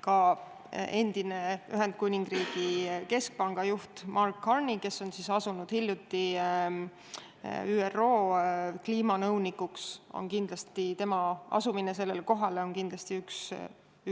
Ka see, et endisest Ühendkuningriigi keskpanga juhist Mark Carneyst sai hiljuti ÜRO kliimanõunik, on kindlasti